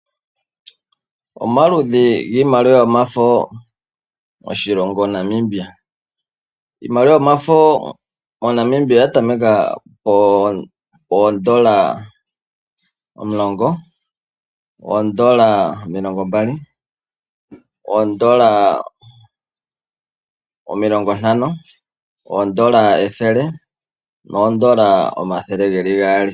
Omaludhi giimaliwa yomafo moNamibia, iimaliwa yomafo moNamibia oya tameka pondola 10, poondola omilongo 20, oondola 50, oondola 100 noondola 200.